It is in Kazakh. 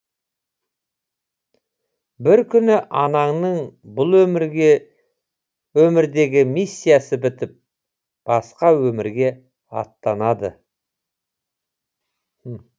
бір күні анаңның бұл өмірдегі миссиясы бітіп басқа өмірге аттанады